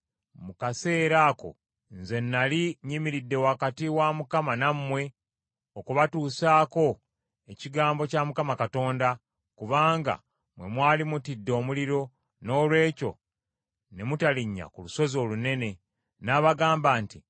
Mu kaseera ako nze nnali nnyimiridde wakati wa Mukama nammwe okubatuusaako ekigambo kya Mukama Katonda, kubanga mmwe mwali mutidde omuliro, noolwekyo ne mutalinnya ku lusozi olunene. N’abagamba nti: